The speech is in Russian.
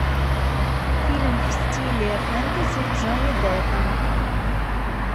фильм в стиле фэнтези с джонни деппом